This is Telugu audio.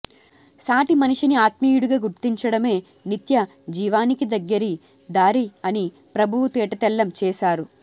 సాటి మనిషిని ఆత్మీయుడిగా గుర్తించడమే నిత్య జీవానికి దగ్గరి దారి అని ప్రభువు తేటతెల్లం చేశారు